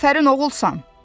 Afərin oğulsan.